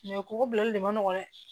kɔgɔ bilali de man nɔgɔn dɛ